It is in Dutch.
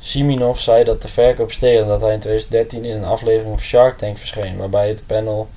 siminoff zei dat de verkoop steeg nadat hij in 2013 in een aflevering van shark tank verscheen waarbij het panel